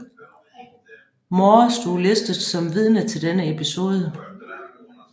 Moore stod listet som vidne til denne episode